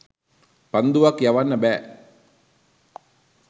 පන්දුවක් යවන්න බෑ.